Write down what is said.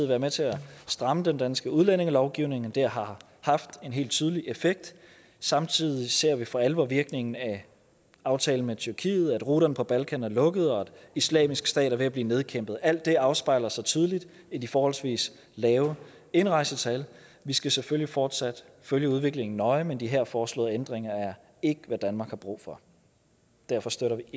været med til at stramme den danske udlændingelovgivning det har har haft en helt tydelig effekt og samtidig ser vi for alvor virkningen af aftalen med tyrkiet altså at ruterne fra balkan er lukket og islamisk stat er ved at blive nedkæmpet alt det afspejler sig tydeligt i de forholdsvis lave indrejsetal vi skal selvfølgelig fortsat følge udviklingen nøje men de her foreslåede ændringer er ikke hvad danmark har brug for derfor støtter